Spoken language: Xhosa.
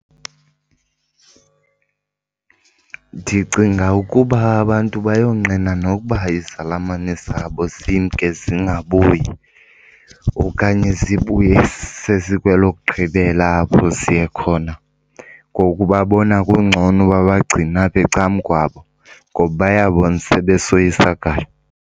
Ndicinga ukuba abantu bayonqena nokuba izalamane zabo zimke zingabuyi okanye sibuye sesikwelokugqibela apho siye khona. Ngoku babona kungcono babagcine apha ecan'kwabo ngoba bayabona sebesoyisakala.